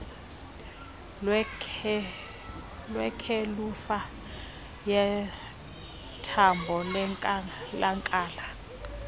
kweshelufa yethambo lenkalakahla